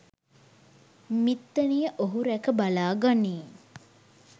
මිත්තණිය ඔහු රැක බලා ගනියි